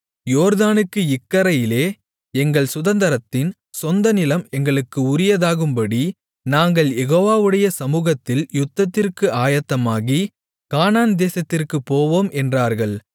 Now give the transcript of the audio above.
யோர்தானுக்கு இக்கரையிலே எங்கள் சுதந்தரத்தின் சொந்தநிலம் எங்களுக்கு உரியதாகும்படி நாங்கள் யெகோவாவுடைய சமுகத்தில் யுத்தத்திற்கு ஆயத்தமாகி கானான் தேசத்திற்குப் போவோம் என்றார்கள்